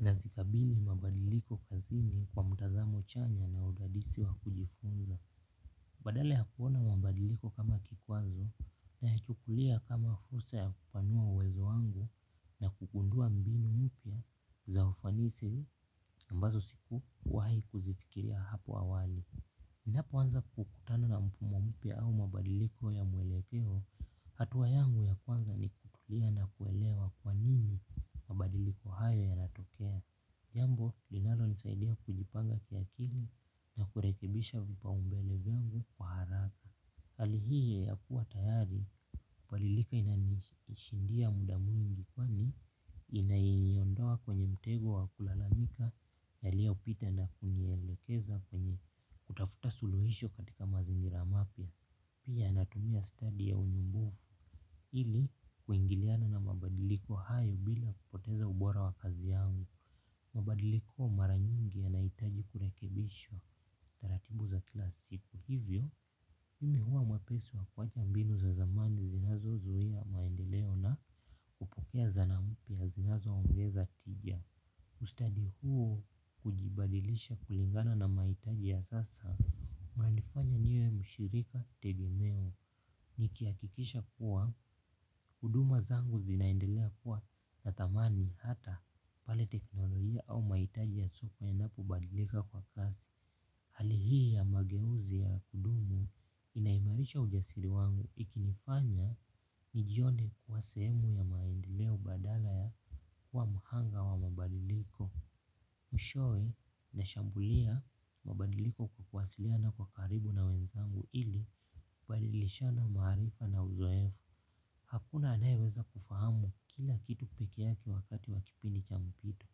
Nazikabili mabadiliko kazini kwa mtazamo chanya na udadisi wa kujifunza. Badala ya kuona mabadiliko kama kikwazo nayachukulia kama fursa ya kupanua uwezo wangu na kugundua mbinu mpya za ufanisi ambazo sikuwahi kuzifikiria hapo awali. Ninapo anza kukutana na mfumo mpya au mabadiliko ya mwelekeo hatua yangu ya kwanza ni kutulia na kuelewa kwa nini mabadiliko hayo yanatokea. Jambo, linalonisaidia kujipanga kiakili na kurekibisha vipaumbele vengu kwa haraka. Hali hii ya kuwa tayari, palilika inanishindia muda mwingi kwani inaiondoa kwenye mtego wa kulalamika yaliyopita na kunielekeza kwenye kutafuta suluhisho katika mazingira mapya pia natumia study ya unyumbufu ili kuingiliana na mabadiliko hayo bila poteza ubora wa kazi yangu mabadiliko mara nyingi yanahitaji kurekebishwa taratibu za kila siku hivyo. Mimi huwa mwepesi wa kuwacha mbinu za zamani zinazozuia maendeleo na hupokea zana mpya zingazoongeza tija ustadi huo hujibadilisha kulingana na mahitaji ya sasa unanifanya niwe mshirika tegemeo. Nikihakikisha kuwa huduma zangu zinaendelea kuwa na thamani hata pale teknolojia au mahitaji ya sopa inapobadilika kwa kasi hali hii ya mageuzi ya kudumu inaimarisha ujasiri wangu ikinifanya nijione kuwa sehemu ya maendeleo badala ya kuwa mhanga wa mabadiliko mwishowe nashambulia mabadiliko kwa kuwasiliana na kwa karibu na wenzangu ili kubadilishana maarifa na uzoefu. Hakuna anayeweza kufahamu kila kitu pekee yake wakati wa kipindi cha mpito.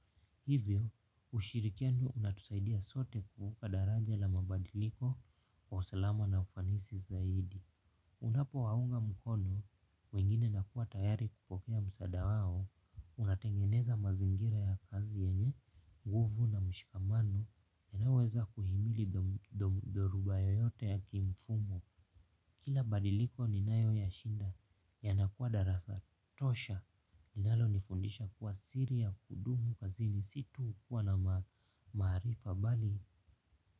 Hivyo ushirikiano unatusaidia sote kuvuka daraja la mabadiliko kwa usalama na ufanisi zaidi. Unapo waunga mkono, wengine nakuwa tayari kupokea msaada wao, unatengeneza mazingira ya kazi yenye, nguvu na mshikamano, yanayoweza kuhimili dhoruba yoyote ya kimfumo. Kila badiliko ninayo yashinda yanakuwa darasa tosha, inalonifundisha kuwa siri ya kudumu kazi ni si tu kuwa na maarifa bali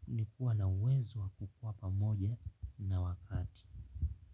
ni kuwa na uwezo wa kukuwa pamoja na wakati.